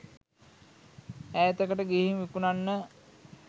ඈතකට ගිහින් විකුණන්න